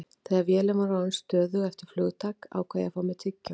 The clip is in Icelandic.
Þegar vélin var orðin stöðug eftir flugtak ákvað ég að fá mér tyggjó.